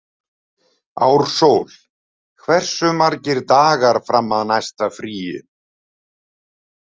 Ársól, hversu margir dagar fram að næsta fríi?